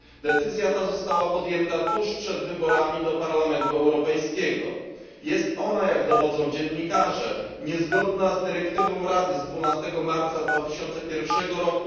Decyzja ta została podjęta tuż przed wyborami do Parlamentu Europejskiego. Jest ona, jak dowodzą dziennikarze, niezgodna z dyrektywą Rady z 12 marca 2001 r.,